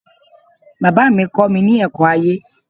Bàbá mi kọ́mi ní ẹ̀kọ́ ayé